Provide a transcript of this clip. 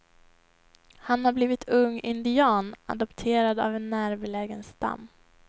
Han har blivit ung indian, adopterad av en närbelägen stam.